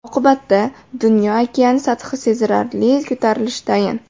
Oqibatda dunyo okeani sathi sezilarli ko‘tarilishi tayin.